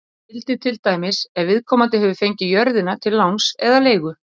Þetta gildir til dæmis ef viðkomandi hefur fengið jörðina til láns eða leigu.